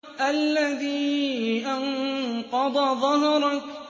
الَّذِي أَنقَضَ ظَهْرَكَ